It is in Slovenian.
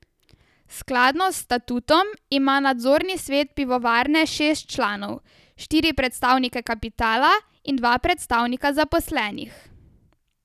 Skladno s statutom ima nadzorni svet pivovarne šest članov, štiri predstavnike kapitala in dva predstavnika zaposlenih.